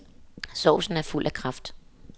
Sovsen er fuld af kraft.